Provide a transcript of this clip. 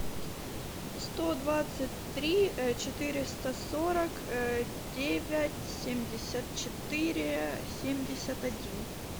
сто двадцать три четыреста сорок девять семьдесят четыре семьдесят один